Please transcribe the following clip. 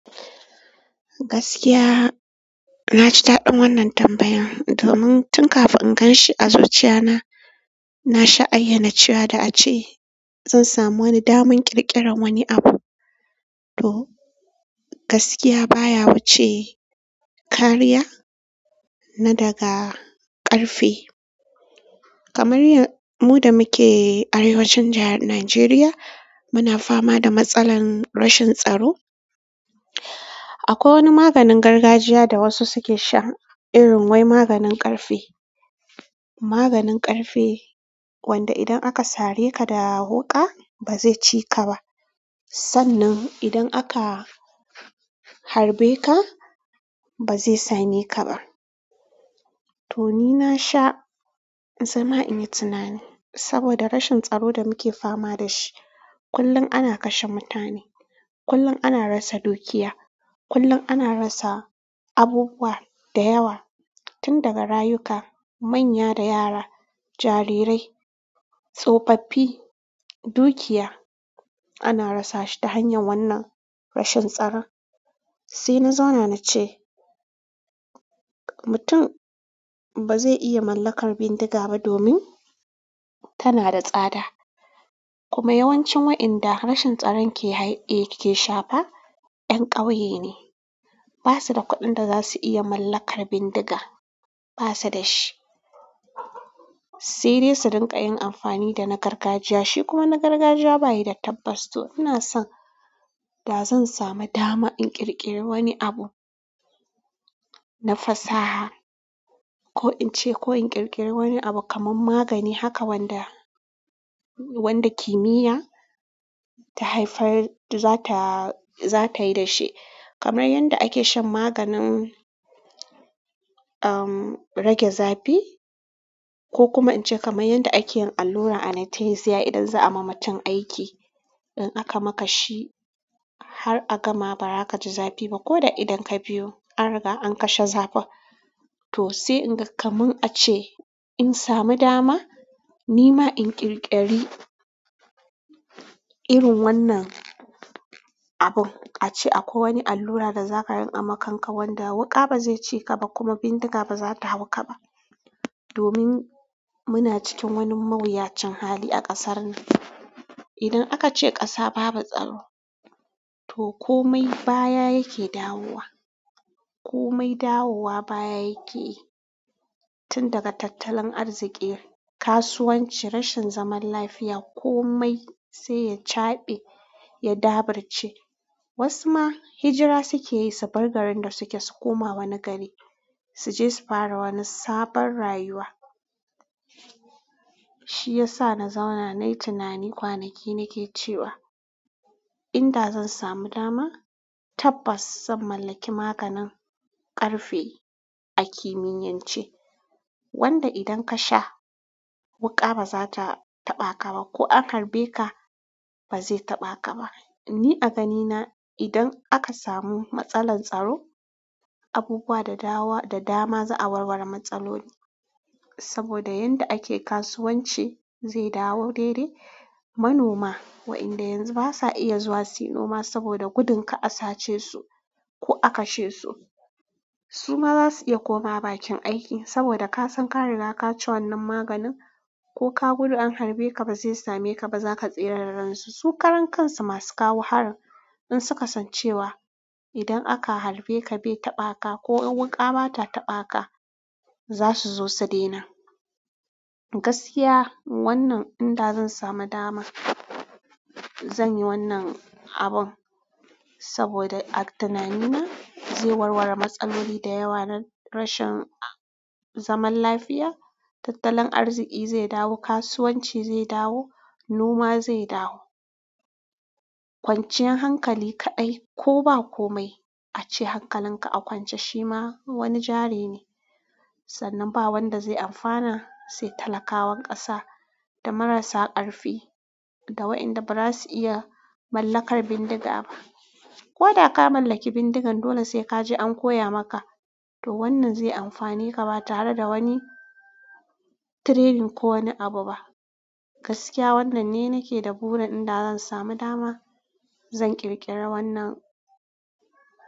Gaskiya, na ji daɗin wannan tambayan. Domun tun kafin in ganshi a zuciya na, na sha'ayyana cewa da ace zan samu wani daman ƙirƙirar wani abu. To gaskiya baya wuce kariya na daga ƙarfe. Kamar mu da muke arewacin jahar Najeriya, muna fama da matsalar rashin tsaro. Akwai wani maganin gargajiya da wasu suke sha, irin wai maganin ƙarfe. Maganin ƙarfe wanda idan aka sare ka da wuƙa, ba zai ci ka ba sannan idan aka harbe ka ba zai same ka ba. To ni na sha zama in yi tunani saboda rashin tsaro da muke fama da shi. Kullum ana kashe mutane, kullum ana rasa dukiya, kullun ana rasa abubuwa da yawa, tun daga rayuka, manya da yara, jarirai, tsofaffi, dukiya ana rasa shi ta hanyar wannan rashin tsaron. Sai na zauna na ce mutum ba zai iya mallakar bindiga ba domin tana da tsada. Kuma yawancin waɗanda rashin tsaron ke shafa 'yan ƙauye ne. Ba su da kuɗin da za su iya mallakar bindiga, ba su da shi. Sai dai su rinƙa yin amfani da na gargajiya. Shi kuma na gargajiya bayi da tabbas to. Ina son da zan samu dama in ƙirƙiri wani abu na fasaha ko in ce ko in ƙirƙiri wani abu kaman magani haka wanda, wanda kimiyya ta haifar da za ta, za ta yi da shi. Kamar yadda ake shan maganin umm rage zafi ko kuma in ce kamar yadda ake yin allura anatasiya idan za a ma mutum aiki. In aka maka shi har a gama ba za ka ji zafi ba ko da idon ka biyu an riga an kashe zafin. To sai in ga kaman a ce in samu dama ni ma in ƙirƙiri irin wannan abu. A ce akwai wani allura da za ka ringa makanka wanda wuƙa ba zai ci ka ba kuma bindiga ba za ta hau ka ba. Domin muna cikin wani mawuyacin hali a kasarnan, idan aka ce ƙasa babu tsaro to komai baya yake dawowa komai dawowa baya yake yi. Tun daga tattalin arziki, kasuwanci, rashin zaman lafiya, komai sai ya caɓe, ya dabarbce. Wasu ma hijira suke yi su bar garin da suke, su koma wani gari, su je su fara wani sabon rayuwa. Shi ya sa na zauna nayi tunani kwanaki nake cewa in da zan samu dama, tabbas zan mallaki maganin ƙarfe a kimiyyance. Wanda idan ka sha wuƙa ba za ta taɓa ka ba ko an harbe ka ba zai taɓa ka ba. Ni a ganina idan aka samu matsalar tsaro, abubuwa da dawa da dama za a warware matsaloli. Saboda yanda ake kasuwanci zai dawo daidai. Manoma wayanda yanzu basa iya zuwa su yi noma saboda gudun ka asace su ko a kashe su. Su ma za su iya komawa bakin aiki saboda kasan ka riga ka ci wannan maganin ko ka gudu an harbe ka ba zai same ka ba, za ka tsira da ransu. Su karan kansu masu kawo harin in suka san cewa idan aka harbe ka bai taɓa ka ko in wuƙa ba ta taɓa ka, za su zo su daina. Gaskiya wannan in da zan samu dama, zan yi wannan abun saboda a tunanina zai warware matsaloli da yawa na rashin zaman lafiya. Tattalin arziki zai dawo, kasuwanci zai dawo, noma zai dawo. Kwanciyar hankali kaɗai ko ba komai a ce hankalinka a kwance shi ma wani jari ne. Sannan ba wanda zai amfana sai talakawan ƙasa da marasa ƙarfi da wayanda ba za su iya mallakar bindiga ba. Ko da ka mallaki bindigan, dole sai ka je an koya maka. Domin ba zai anfane ka ba tare da training ko wani abu ba. Gaskiya wannan ne nake da burin inda zan samu dama zan ƙirƙiri wannan abu.